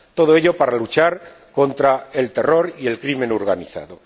todo ello, para luchar contra el terror y el crimen organizado.